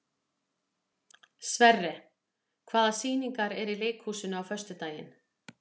Sverre, hvaða sýningar eru í leikhúsinu á föstudaginn?